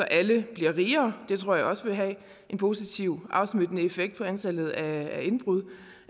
alle bliver rigere vil have en positiv afsmittende effekt på antallet af indbrud